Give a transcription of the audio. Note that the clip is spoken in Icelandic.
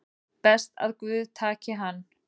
Best að guð taki hann